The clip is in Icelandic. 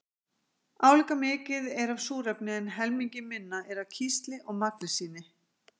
Álíka mikið er af súrefni en helmingi minna er af kísli og magnesíni.